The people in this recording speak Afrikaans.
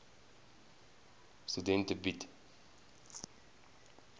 studente bied